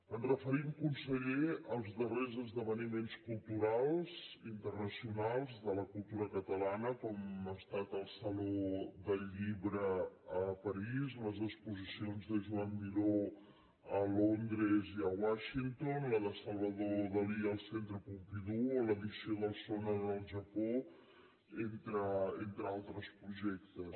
ens referim conseller als darrers esdeveniments culturals internacionals de la cultura catalana com ha estat el saló del llibre a parís les exposicions de joan miró a londres i a washington la de salvador dalí al centre pompidou o l’edició del sónar al japó entre altres projectes